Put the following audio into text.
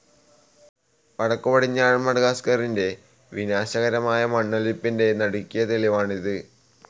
വടക്കുപടിഞ്ഞാറൻ മഡഗാസ്കറിൻ്റെ വിനാശകരമായ മണ്ണൊലിപ്പിൻ്റെ നടുക്കിയ തെളിവാണ് ഇത്.